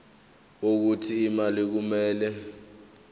wokuthi imali kumele